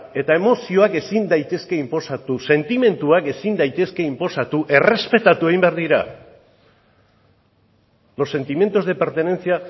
eta emozioak ezin daitezke inposatu sentimenduak ezin daitezke inposatu errespetatu egin behar dira los sentimientos de pertenencia